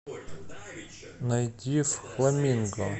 найди в хламинго